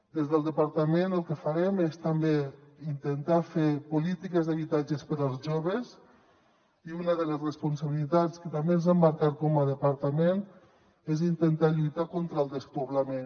des del departament el que farem és també intentar fer polítiques d’habitatge per als joves i una de les responsabilitats que també ens hem marcat com a departament és intentar lluitar contra el despoblament